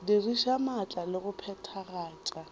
diriša maatla le go phethagatša